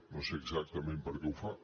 no sé exactament per què ho fa